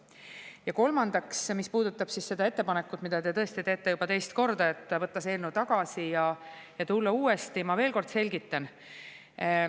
Ja kolmandaks, mis puudutab seda ettepanekut, mida te tõesti teete juba teist korda, võtta see eelnõu tagasi ja tulla uue, siis ma veel kord selgitan.